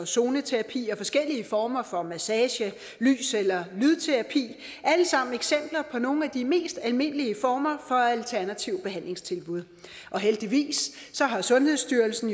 zoneterapi og forskellige former for massage lys eller lydterapi er alle sammen eksempler på nogle af de mest almindelige former alternative behandlingstilbud og heldigvis har sundhedsstyrelsen